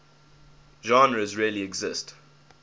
genres really exist